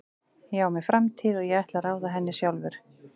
Ég á mér framtíð og ég ætla að ráða henni sjálfur.